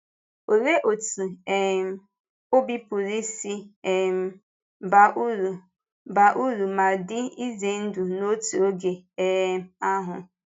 Olee otú um ọ̀bì pụrụ isi um baa uru baa uru ma dị ize ndụ n’otu oge um ahụ?